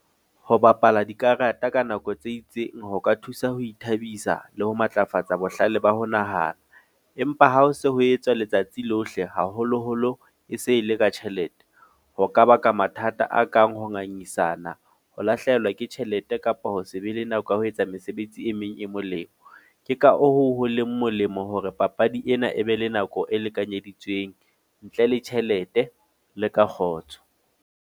Ho bapala dikarata ka nako tse itseng ho ka thusa ho ithabisa le ho matlafatsa bohlale ba ho nahana. Empa ha ho se ho etswa letsatsi lohle, haholo-holo e se e le ka tjhelete. Ho ka baka mathata a kang ho ngangisana, ho lahlehelwa ke tjhelete kapo ho se be le nako ya ho etsa mesebetsi e meng e molemo. Ke ka hoo ho leng molemo hore papadi ena e be le nako e lekanyeditsweng, ntle le tjhelete le ka kgotso.